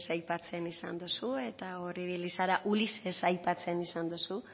aipatzen izan duzu eta hor ibili zara ulises aipatzen esan duzu